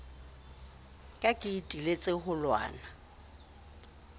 ka ke iteletse ho lwana